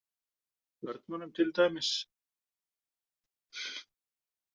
Börnunum til dæmis?